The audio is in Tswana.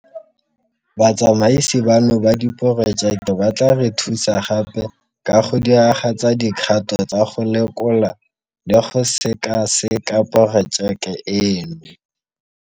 Batsamaisi bano ba Diporojeke ba tla re thusa gape ka go diragatsa dikgato tsa go lekola le go sekaseka porojeke eno.